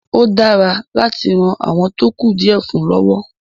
ó dáwà láti ran “àwọn tó kù díẹ̀ fún ” lọ́wọ́.